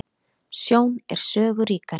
Sjón er sögu ríkari.